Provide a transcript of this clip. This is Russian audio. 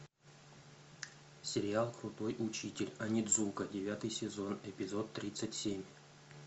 сериал крутой учитель онидзука девятый сезон эпизод тридцать семь